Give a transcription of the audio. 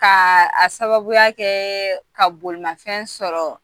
Kaaa a sababuya kɛɛɛ ka bolimafɛn sɔrɔ